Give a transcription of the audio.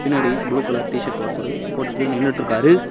பின்னாடி blue colour T shirt ஒருத்தரு போட்டுட்டு நின்னுட்ருக்காரு.